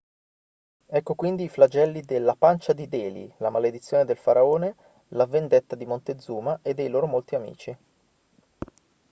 ecco quindi i flagelli de la pancia di delhi la maledizione del faraone la vendetta di montezuma e dei loro molti amici